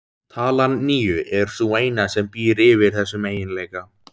Talan níu er sú eina sem býr yfir þessum eiginleika.